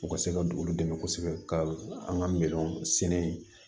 U ka se ka olu dɛmɛ kosɛbɛ ka an ka miliyɔn sɛnɛ yen